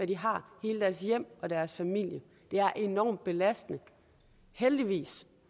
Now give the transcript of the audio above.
de har hele deres hjem og deres familie det er enormt belastende heldigvis